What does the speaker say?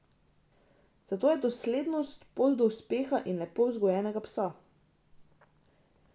Zato je doslednost pot do uspeha in lepo vzgojenega psa.